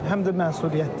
Həm də məsuliyyətdir.